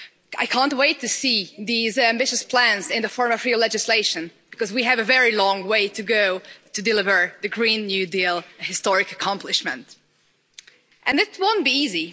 I can't wait to see these ambitious plans in the form of real legislation, because we have a very long way to go to deliver the Green New Deal historic accomplishment. It won't be easy.